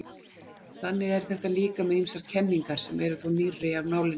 Þannig er þetta líka með ýmsar kenningar sem eru þó nýrri af nálinni.